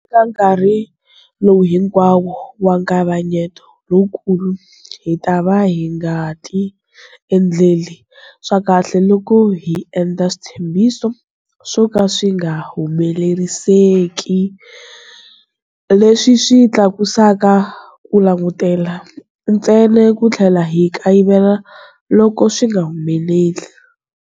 Eka nkarhi lowu hinkwawo wa nkavanyeto lowukulu, hi ta va hi nga ti endleli swa kahle loko hi endla switshembiso swo ka swi nga humeleriseki leswi swi tlakusaka ku langutela, ntsena ku tlhela hi kayivela loko swi nga humeleli.